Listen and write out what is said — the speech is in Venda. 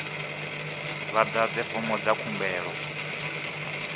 vha ḓadze fomo dza khumbelo